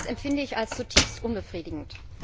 Das empfinde ich als zutiefst unbefriedigend.